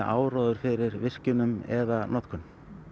áróður fyrir virkjunum eða notkun